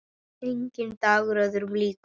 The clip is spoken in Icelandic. Enginn dagur öðrum líkur.